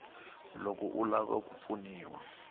loko u lava ku pfuniwa